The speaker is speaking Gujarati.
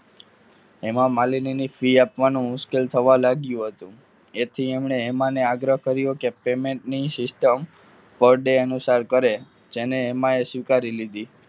હેમામાલીની ની film fee આપવાનું મુશ્કેલ થવા લાગ્યું હતું તેથી તેમણે હેમાને આગ્રહ કર્યો કે payment ની system per day અનુસાર કરે જેને એમાય સ્વીકારી લીધી.